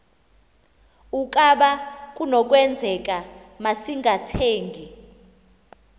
ukaba kunokwenzeka masingathengi